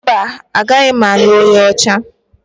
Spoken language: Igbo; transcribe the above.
Mba, agaghị m alụ onye nyocha